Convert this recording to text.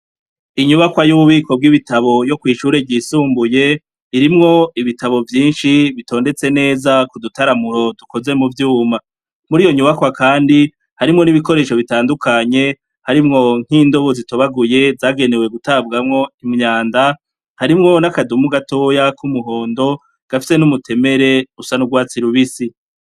Inyubakwa y'ububiko bw'ibitabo yo kw'ishure ryisumbuye irimwo ibitabo vyinshi bitondetse neza kudutaramuro dukoze mu vyuma muri iyo nyubakwa, kandi harimwo n'ibikoresho bitandukanye harimwo nk'indobo zitobaguye zagenewe gutabwamwo imyanda harimwo n'akadumu gatoya k'umuhondo gafise n'umutemere usanurwatsi lubisi.